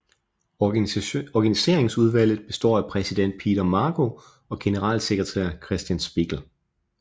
Organiseringsudvalget består af præsident Peter Marko og generalsekretær Christian Speckle